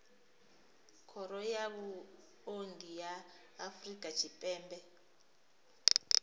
khoro ya vhuongi ya afrika tshipembe